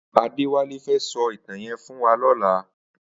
Adewale fè sò itàn yèn fún wà lòlá